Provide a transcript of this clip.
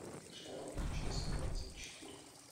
шерлок часть двадцать четыре